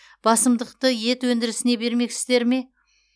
басымдықты ет өндірісіне бермекшісіздер ме